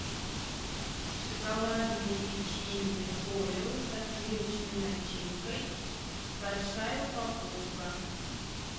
шоколадные печенья орио со сливочной начинкой большая упаковка